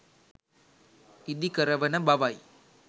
ඉදි කරවන බවයි.